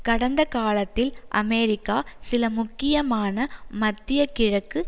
கடந்த காலத்தில் அமெரிக்கா சில முக்கியமான மத்திய கிழக்கு